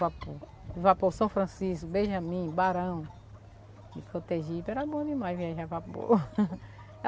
Vapor vapor São Francisco, Benjamin, Barão, Frotegipe, era bom demais viajar a vapor.